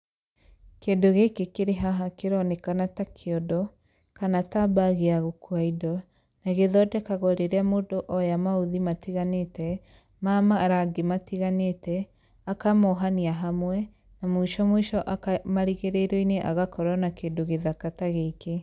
Kindũ gĩkĩ kĩrĩ haha kĩronekana ta kĩiondo kana ta bagi ya gũkua indo na gĩthondekagwo rĩrĩa mũndũ oya mauthi matiganĩte ma marangi matiganĩte akamohania hamwe na mũico mũico marigĩrĩrioi-nĩ agakorwo na kĩndũ gĩthaka ta gĩkĩ.